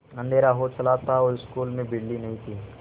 अँधेरा हो चला था और स्कूल में बिजली नहीं थी